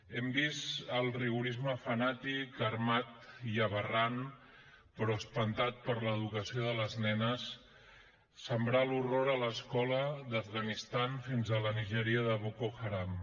hem vist el rigorisme fanàtic armat i aberrant però espantat per l’educació de les nenes sembrar l’horror a l’escola de l’afganistan fins a la nigèria de boko haram